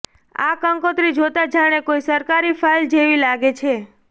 આ કંકોત્રી જોતાં જાણે કોઈ સરકારી ફાઈલ જેવી લાગે છે